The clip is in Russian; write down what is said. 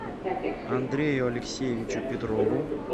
андрею алексеевичу петрову